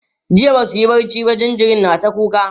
jiya Basu yi barci ba jinjirin na ta kuka